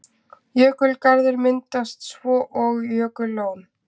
Jökulgarður myndast svo og jökullón.